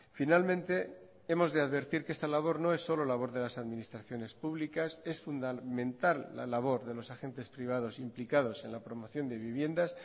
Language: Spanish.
finalmente hemos de advertir que esta labor no es solo labor de las administraciones públicas es fundamental la labor de los agentes privados implicados en la promoción de viviendas